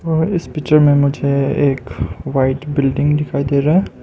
और इस पिक्चर में मुझे एक व्हाइट बिल्डिंग दिखाई दे रहा है।